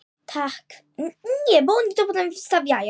Takk fyrir allt, elsku vinur.